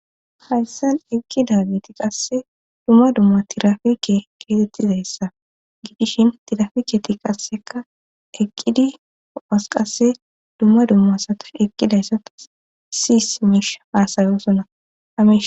hayssan eqqida giti qasse dumma dumma tirafike keesettizayssa gidishin tirafiketi qasseka eqqidi oos qasse dumma dumma sata eqqidayssata siis miish faasayoosonnaais